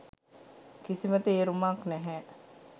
කිසිම තේරුමක් නැහැ.